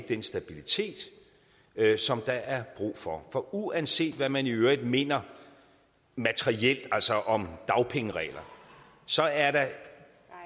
den stabilitet som der er brug for for uanset hvad man i øvrigt mener materielt altså om dagpengeregler så er der